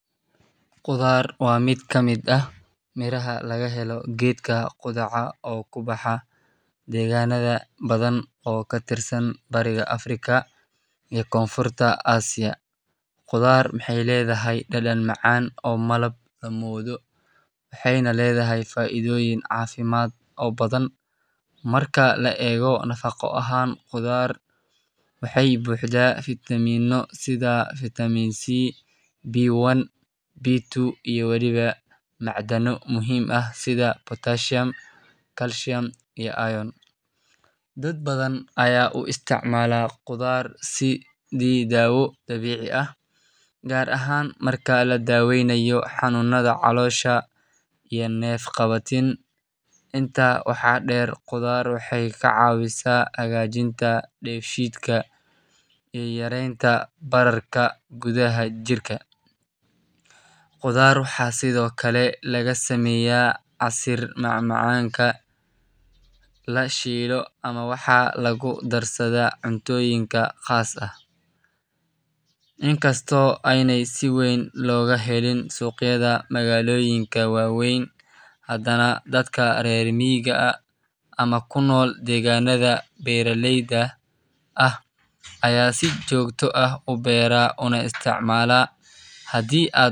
Qudhaar waa miid ka miid ah miraha laga helo geedka qudhaxa oo kubaxa deganaada badan oo ka tirsan bariga africa, waxee ledhahay faidoyin cafimaad oo badan, dad badan aya u isticmala qudhaar si dawo dabici ah gar ahan inta la daweynayo xanunaada calosha iyo neef qawatin, intaa waxaa deer qudharta waxee ka cawisa bararka jirka, waxaa lagu darsaada cuntoyinka qas ka ah, aya si jogto ah ubeera oo isticmala hadii aa.